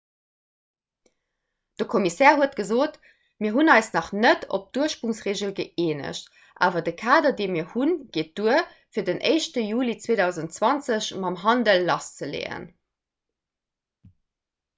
de kommissär huet gesot mir hunn eis nach net op d'ursprongsregel gëeenegt awer de kader dee mir hunn geet duer fir den 1 juli 2020 mam handel lasszeleeën